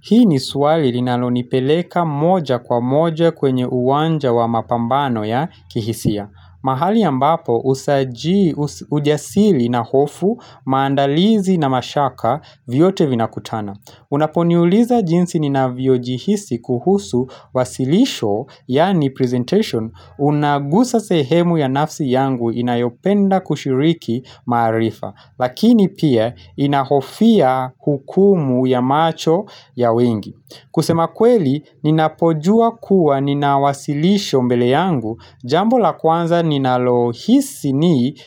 Hii ni swali linalonipeleka moja kwa moja kwenye uwanja wa mapambano ya kihisia. Mahali ambapo, ujasiri na hofu, maandalizi na mashaka vyote vinakutana. Unaponiuliza jinsi ninavyojihisi kuhusu wasilisho, yani presentation, unagusa sehemu ya nafsi yangu inayopenda kushiriki maarifa. Lakini pia ninahofia hukumu ya macho ya wengi kusema kweli ninapojuwa kuwa nina wasilisho mbele yangu Jambo la kwanza ninalohisi ni